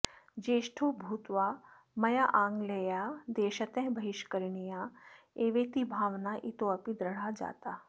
ज्येष्ठो भूत्वा मया आङ्ग्लेयाः देशतः बहिष्करणीयाः एवेति भावना इतोऽपि दृढा जाता